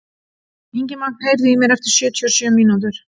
Ingimagn, heyrðu í mér eftir sjötíu og sjö mínútur.